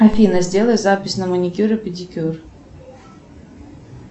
афина сделай запись на маникюр и педикюр